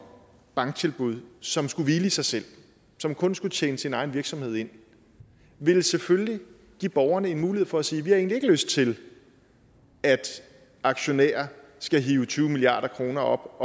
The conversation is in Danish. banktilbud som skulle hvile i sig selv som kun skulle tjene sin egen virksomhed ind ville selvfølgelig give borgerne en mulighed for at sige vi har egentlig ikke lyst til at aktionærer skal hive tyve milliard kroner op